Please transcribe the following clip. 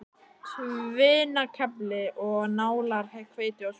Tvinnakefli og nálar, hveiti og svuntur.